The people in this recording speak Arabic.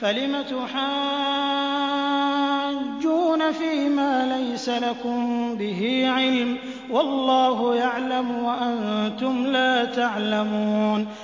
فَلِمَ تُحَاجُّونَ فِيمَا لَيْسَ لَكُم بِهِ عِلْمٌ ۚ وَاللَّهُ يَعْلَمُ وَأَنتُمْ لَا تَعْلَمُونَ